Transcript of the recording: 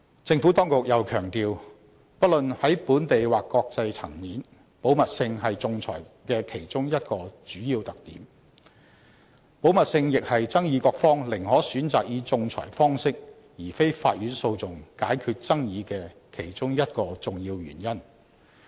政府當局又強調，不論在本地或國際層面，保密性是仲裁的其中一個主要特點。保密性亦是爭議各方寧可選擇以仲裁方式解決爭議的其中一個重要原因。